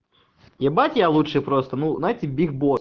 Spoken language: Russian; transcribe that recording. ебать я лучший просто ну знаете биг босс